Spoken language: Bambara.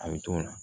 A bɛ t'o la